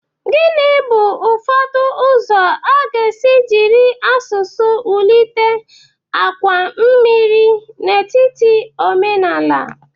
Gini bu ụzọ ụfọdụ a ga-esi jiri asụsụ wulite àkwà mmiri n'etiti omenala?